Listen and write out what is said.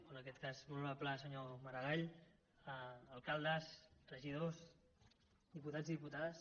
o en aquest cas molt honorable senyor maragall alcaldes regidors diputats i diputades